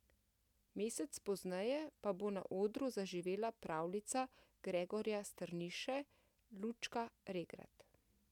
Mesec pozneje pa bo na odru zaživela pravljica Gregorja Strniše Lučka Regrat.